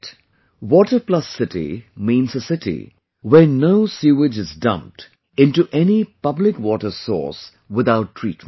'Water Plus City' means a city where no sewage is dumped into any public water source without treatment